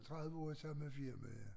30 år i samme firma ja